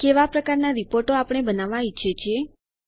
કેવા પ્રકારના રિપોર્ટો આપણે બનાવવા ઈચ્છીએ છીએ